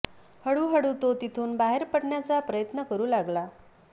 हळू हळू तो तिथून बाहेर पडण्याचा प्रयत्न करू लागला